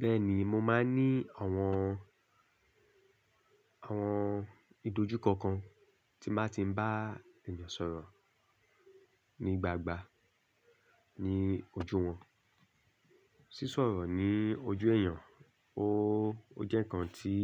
Bẹ́ẹ̀ni, mo máa ń ní àwọn, àwọn ìdojú kọ̀ọ̀kan tí máa ti ń bá èèyàn sọ̀rọ̀ ní gbangba ní ojú wọn. Sísọ̀rọ̀ ní ojú ẹ̀yàn, ó, ó jẹ́ ǹkan tí,